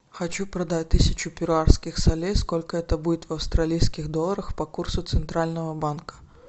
хочу продать тысячу перуанских солей сколько это будет в австралийских долларах по курсу центрального банка